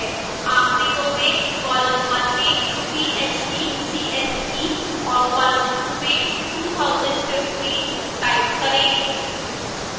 आखिरी row में column में phd cse और column 2 में 2015 type करें